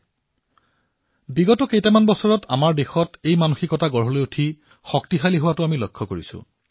আমি দেখা পাইছো যে বিগত কেইটামান বৰ্ষত আমাৰ দেশত এই ভাৱধাৰণাৰ সৃষ্টি হবলৈ ধৰিছে ই নিৰন্তৰে শক্তিশালী হবলৈ ধৰিছে